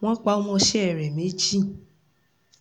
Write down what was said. wọn um pa ọmọọṣẹ́ ẹ̀ méjì